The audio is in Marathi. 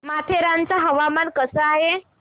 माथेरान चं हवामान कसं आहे